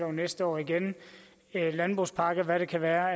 og næste år igen en landbrugspakke hvad det kan være